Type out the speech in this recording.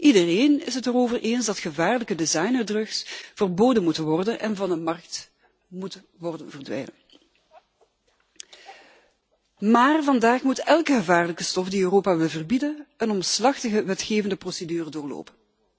Iedereen is het erover eens dat gevaarlijke designerdrugs verboden moeten worden en van de markt moeten verdwijnen. Maar vandaag moet elke gevaarlijke stof die Europa wil verbieden een omslachtige wetgevende procedure doorlopen.